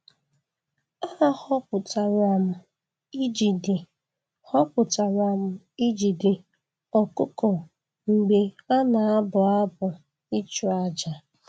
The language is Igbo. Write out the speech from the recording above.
A họpụtara m ijide họpụtara m ijide ọkụkọ mgbe a na-abụ abụ ịchụ àjà.